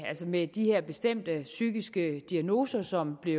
med de her bestemte psykiske diagnoser som blev